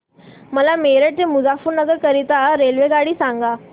मला मेरठ ते मुजफ्फरनगर करीता रेल्वेगाडी सांगा